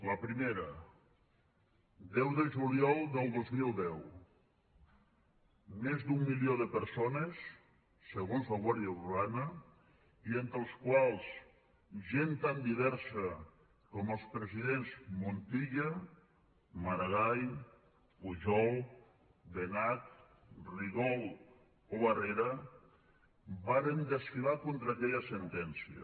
la primera deu de juliol del dos mil deu més d’un milió de persones segons la guàrdia urbana i entre els quals gent tan diversa com els presidents montilla maragall pujol benach rigol o barrera varen desfilar contra aquella sentència